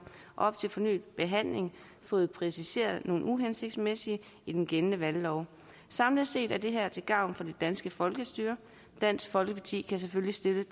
op til fornyet behandling og fået præciseret nogle uhensigtsmæssigheder i den gældende valglov samlet set er det her til gavn for det danske folkestyre så dansk folkeparti kan selvfølgelig støtte